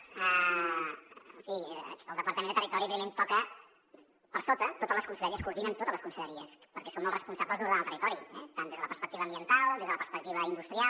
en fi el departament de territori evidentment toca per sota totes les conselleries coordina totes les conselleries perquè som els responsables d’ordenar el territori tant des de la perspectiva ambiental com des de la perspectiva industrial